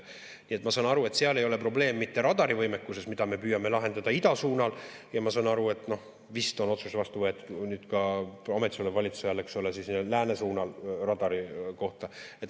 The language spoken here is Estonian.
Nii et ma saan aru, et seal ei ole probleem mitte radarivõimekuses, mida me püüame lahendada ida suunal, ja ma saan aru, et vist on otsus vastu võetud ka ametisoleva valitsuse ajal lääne suunal radari kohta.